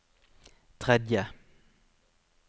tredje